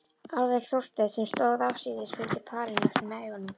Aðeins Þorsteinn sem stóð afsíðis, fylgdi parinu eftir með augunum.